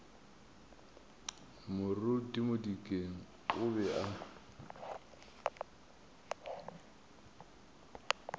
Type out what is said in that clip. moruti modikeng o be a